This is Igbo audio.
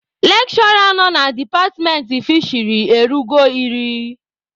Lekshụra nọ na departmentị fisheri erughị iri.